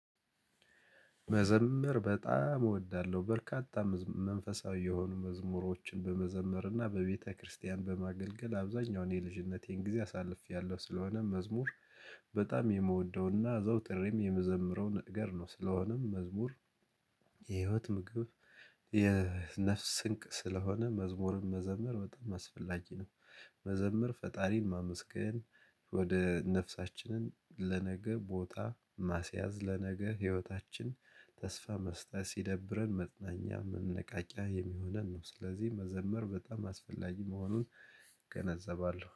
መዘምር በጣም እወዳለሁ በርካታ መንፈሳዊ የሆኑ መዝሙሮችን በመዘምርና በቤተክርስቲያን በማገልገል አብዛኛውን የልጅነቴን ጊዜ አሳልፌያለሁ። ስለሆነም መዝሙር በጣም የምወደውና አዘውትሬም የምዘምረው ነገር ነው። ስለሆነም መዝሙር የህይወት ምግብ። የነፍስ ስንቅ ስለሆነ መዝሙርም መዘምር በጣም አስፈላጊ ነው። መዘምር ፈጣሪን ማመስገን ወደ ነፍሳችንን ለነገ ቦታ ማስያዝ ለነገ ህይወታችን ተስፋ መስጠት ሲደብረን መጽናኛ መነቃቂያ የሚሆነን ነው። ስለዚህ መዘመር በጣም አስፈላጊ መሆኑን እገነዘባለሁ